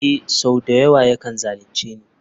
Ee sau da yawa yakan zalunce ni.